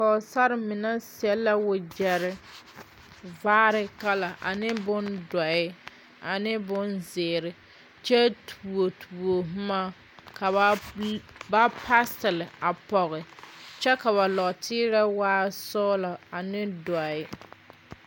Pɔgsar mene sɛ la wagyere vaare kala, ne bon doɔe, ane bon ziire. Kyɛ tuo tuo boma ka ba pasɛl a poge. Kyɛ ka ba norteerɛ waa sɔglɔ ane doɔe